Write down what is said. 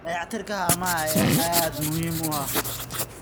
Dayactirka haamaha ayaa aad muhiim u ah.